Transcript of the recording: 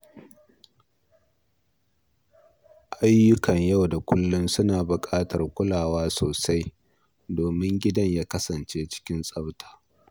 Ayyukan yau da kullum suna buƙatar kulawa sosai domin gida ya kasance cikin tsabta.